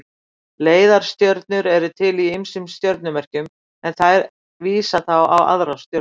Leiðarstjörnur eru til í ýmsum stjörnumerkjum en þær vísa þá á aðrar stjörnur.